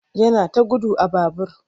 Yana ta gudu a babur.